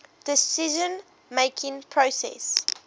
decision making process